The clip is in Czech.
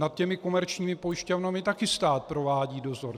Nad těmi komerčními pojišťovnami také stát provádí dozor.